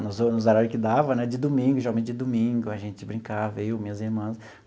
Nos ho nos horário que dava né, de domingo, geralmente de domingo, a gente brincava, eu, minhas irmãs.